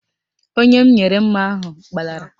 Onye m nyere mma ahụ gbalara